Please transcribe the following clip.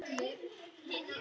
Er hann með ykkur?